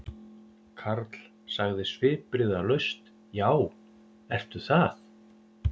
Karl sagði svipbrigðalaus: Já, ertu það?